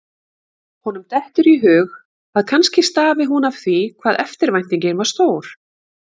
Honum dettur í hug að kannski stafi hún af því hvað eftirvæntingin var stór.